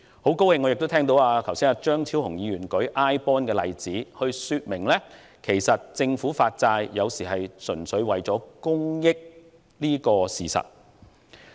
我很高興聽到張超雄議員剛才亦以 iBond 作為例子，說明有時候政府發債，純粹是為了公益這個事實。